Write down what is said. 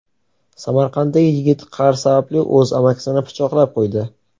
Samarqandlik yigit qarz sababli o‘z amakisini pichoqlab qo‘ydi.